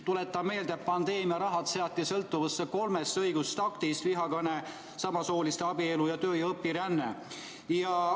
Tuletan meelde, et pandeemiaraha seati sõltuvusse kolmest õigusaktist: vihakõne, samasooliste abielu ning töö- ja õpiränne.